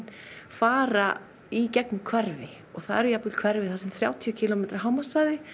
fara í gegnum hverfin og það eru jafnvel hverfi þar sem er þrjátíu kílómetra hámarkshraði